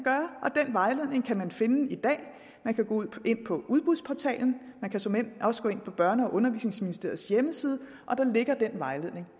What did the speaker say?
vejledning kan man finde i dag man kan gå ind på udbudsportalen og man kan såmænd også gå ind på børne og undervisningsministeriets hjemmeside der ligger den vejledning